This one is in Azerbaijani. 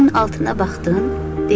Daşın altına baxdın?